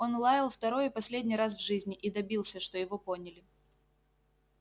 он лаял второй и последний раз в жизни и добился что его поняли